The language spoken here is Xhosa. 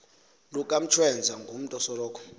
lukantshweza ngumutu osoloko